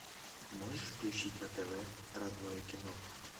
можешь включить на тв родное кино